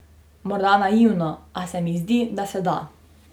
Morda naivno, a se mi zdi, da se da.